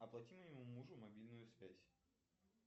оплати моему мужу мобильную связь